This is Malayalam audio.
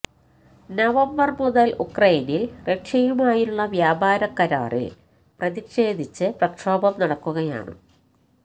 നവംബര് മുതല് ഉക്രൈനില് റഷ്യയുമായുള്ള വ്യാപാര കരാറില് പ്രതിഷേധിച്ച് പ്രക്ഷോഭം നടക്കുകയാണ്